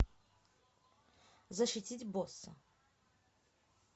защитить босса